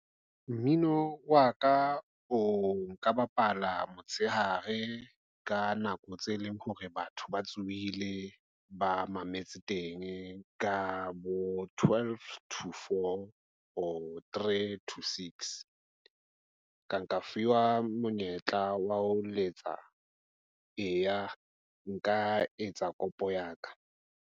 Mmino wa ka o nka bapala motshehare ka nako tse leng hore batho ba tsohile ba mametse teng ka bo twelve, two, four or three, two, six. Ka nka fuwa monyetla wa ho letsa eya, nka etsa kopo ya ka.